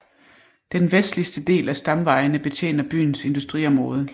Den vestligste af stamvejene betjener byens industriområde